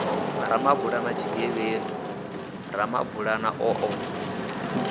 ramabulana tshigevhedu ramabulana o ḓo